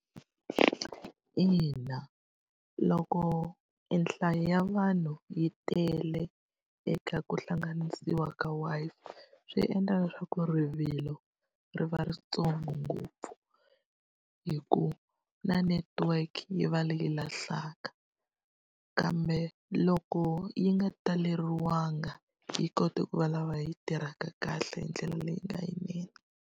Ina loko e nhlayo ya vanhu yi tele eka ku hlanganisiwa ka Wi-Fi swi endla leswaku rivilo ri va rintsongo ngopfu, hi ku na network yi va leyi lahlaka. Kambe loko yi nga taleriwanga yi kota ku va lava yi tirhaka kahle hi ndlela leyi nga yinene.